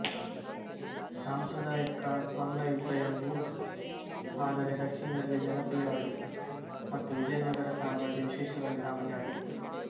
ಸಾಂಪ್ರದಾಯಿಕ ಮಲ್ಲ ಯುದ್ಧಎಂಬುವು ಆದರೆ ದಕ್ಷಿಣದಲ್ಲಿ ಜನಪ್ರಿಯವಾಗಿತ್ತು ಮತ್ತು ವಿಜಯನಗರ ಸಾಮ್ರಾಜ್ಯ ವಿಶೇಷವಾಗಿ ಸಾಮಾನ್ಯವಾಗಿತ್ತು